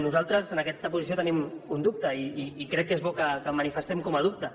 nosaltres en aquesta posició tenim un dubte i crec que és bo que el manifestem com a dubte